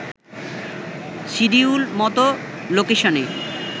schedule মতো লোকেশনে